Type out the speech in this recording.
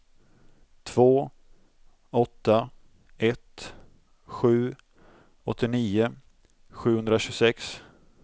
två åtta ett sju åttionio sjuhundratjugosex